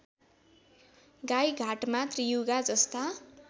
गाइघाटमा त्रियुगा जस्ता